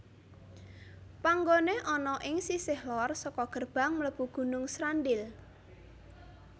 Panggoné ana ing sisih lor saka gerbang mlebu Gunung Srandil